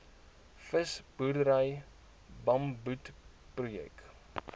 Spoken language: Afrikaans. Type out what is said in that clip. visboerdery bamboed projek